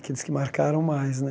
Aqueles que marcaram mais, né?